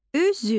Üzük